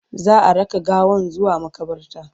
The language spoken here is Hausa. za'a raka gawan zuwa maƙabarta